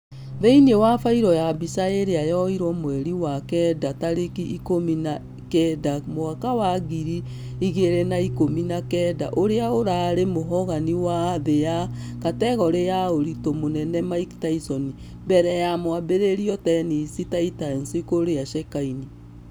Thĩinĩ wa fairo ya mbica ĩrĩa yoirwo mweri wa kenda tarĩki ikũmi na kenda mwaka wa ngiri igĩrĩ na ikũmi na kenda ũrĩa ũrarĩ mũhogani wa thĩ wa kategore ya ũritũ mũnene mike tyson. Mbere ya mwambĩrĩrio tennessee titans kũrĩa shakaini.